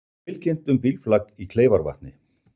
Tilkynnt um bílflak í Kleifarvatni